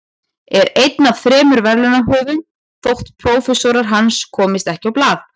Er einn af þremur verðlaunahöfum þótt prófessorar hans komist ekki á blað.